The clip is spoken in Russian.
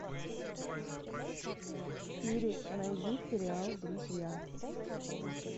сири найди сериал друзья